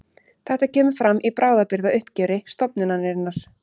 Þetta kemur fram í bráðabirgðauppgjöri stofnunarinnar